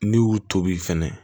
N'i y'u tobi fɛnɛ